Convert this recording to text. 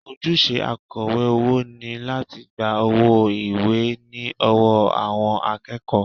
Ojúṣe akọ̀wé owó ni láti gba owó ilé ìwé ní ọwọ́ àwọn akẹ́kọ̀ọ́